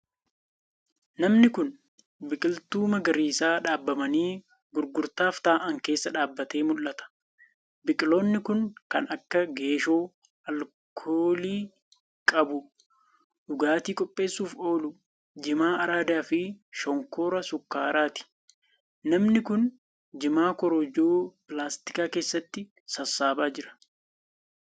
Namni kun, biqiltuu magariisa dhaabamanii gurgurtaaf ta'an keessa dhaabbatee mul'ata. Biqiloonni kun kan akka, geeshoo alkoolii qabu dhugaatii qopheessuuf oolu jimaa araadaa fi shonkoora sukkaaraati. Namni kun, jimaa korojoo pilaastikaa keessatti saassaabaa jira.